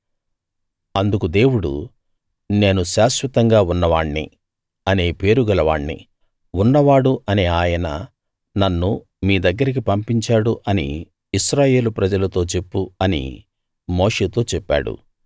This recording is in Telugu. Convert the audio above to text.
అందుకు దేవుడు నేను శాశ్వతంగా ఉన్నవాణ్ణి అనే పేరు గల వాణ్ణి ఉన్నవాడు అనే ఆయన నన్ను మీ దగ్గరికి పంపించాడు అని ఇశ్రాయేలు ప్రజలతో చెప్పు అని మోషేతో చెప్పాడు